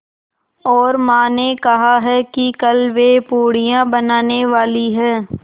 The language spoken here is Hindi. और माँ ने कहा है कि कल वे पूड़ियाँ बनाने वाली हैं